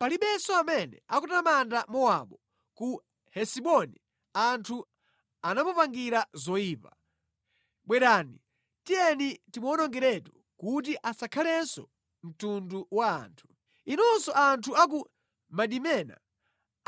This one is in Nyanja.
Palibenso amene akutamanda Mowabu; ku Hesiboni anthu anamupanganira zoyipa: ‘Bwerani, tiyeni timuwonongeretu kuti asakhalenso mtundu wa anthu.’ Inunso anthu a ku Madimena,